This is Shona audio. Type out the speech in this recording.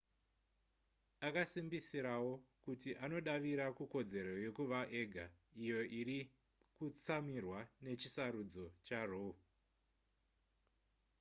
akasimbisirawo kuti anodavira kukodzero yekuva ega iyo iri kutsamirwa nechisarudzo charoe